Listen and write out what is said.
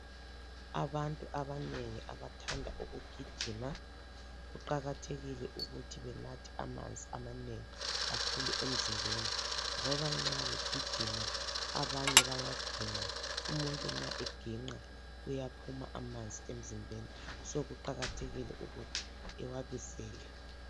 Abantu abanengi abathanda ukugijima, kuqakathekile ukuthi benathe amanzi amanengi kakhulu emzimbeni ngoba nxa begijima abanye bayaginqa. Umuntu nxa eginqa uyaphuma amanzi emzimbeni so kuqakathekile ukuthi ewabisele.